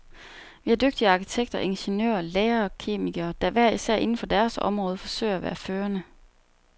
Vi har dygtige arkitekter, ingeniører, læger og kemikere, der hver især inden for deres område forsøger at være førende.